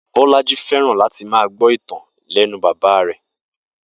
Bó̩lájí fé̩ràn láti máa gbó̩ ìtàn láti e̩nu bàbá rè̩